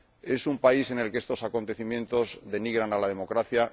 Es un país en el que estos acontecimientos denigran a la democracia.